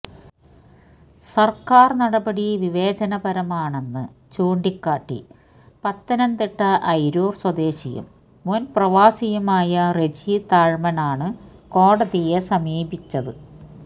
സർക്കാർ നടപടി വിവേചനപരമാണെന്ന് ചൂണ്ടിക്കാട്ടി പത്തനംതിട്ട അയിരൂർ സ്വദേശിയും മുൻ പ്രവാസിയുമായ റെജി താഴമൺ ആണ് കോടതിയെ സമീപിച്ചത്